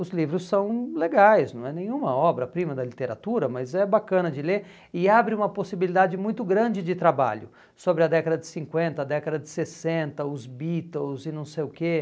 Os livros são legais, não é nenhuma obra-prima da literatura, mas é bacana de ler e abre uma possibilidade muito grande de trabalho sobre a década de cinquenta, a década de sessenta, os Beatles e não sei o quê.